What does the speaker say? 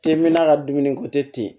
K'e me n'a ka dumuni ko te ten